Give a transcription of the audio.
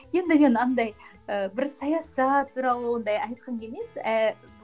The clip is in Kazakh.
енді мен андай ііі бір саясат туралы ондай айтқым келмейді